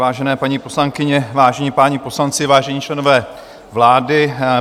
Vážené paní poslankyně, vážení páni poslanci, vážení členové vlády.